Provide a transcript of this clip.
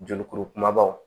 Jolikuru kumabaw